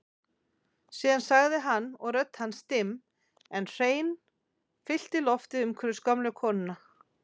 Síðan sagði hann og rödd hans dimm en hrein fyllti loftið umhverfis gömlu konuna